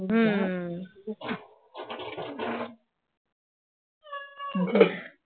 বুঝেছিস